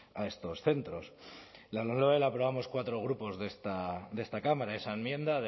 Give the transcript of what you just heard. a estos centros la lomloe la aprobamos cuatro grupos de esta cámara esa enmienda